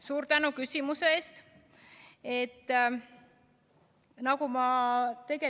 Suur tänu küsimuse eest!